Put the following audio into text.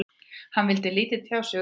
Hann vildi lítið tjá sig um það.